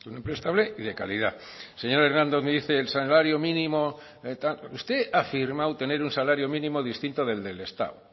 un empleo estable y de calidad el señor hernández me dice el salario mínimo tal usted ha afirmado tener un salario mínimo distinto del de el estado